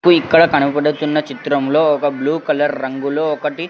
ఇక్కడ కనబడుతున్న చిత్రంలో ఒక బ్లూ కలర్ రంగులో ఒకటి.